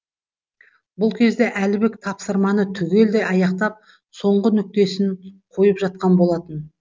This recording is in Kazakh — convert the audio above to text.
бұл кезде әлібек тапсырманы түгелдей аяқтап соңғы нүктесін қойып жатқан болатын